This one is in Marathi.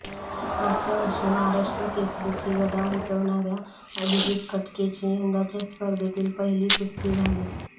मागच्या वर्षी महाराष्ट्र केसरीची गदा उंचावणाऱ्या अभिजीत कटकेची यंदाच्या स्पर्धेतील पहिली कुस्ती झाली